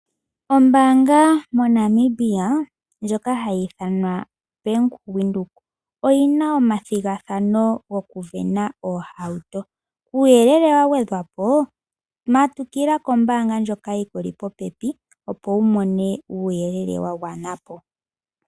Ombaanga moNamibia ndjoka hayi ithanwa Bank Windhoek oyina omathigathano gokusindana oohauto . Kuuyelele wagwedhwa po matukila kombaanga ndjoka yikuli popepi opo wumone uuyelele wagwana po.